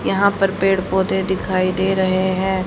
यहां पर पेड़ पौधे दिखाई दे रहे हैं।